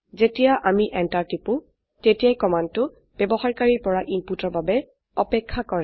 যেতিয়া আমি এন্টাৰ টিপো তেতিয়া কমান্ডটো ব্যবহাৰকাৰীৰ পৰা ইনপুটৰ বাবে অপেক্ষা কৰে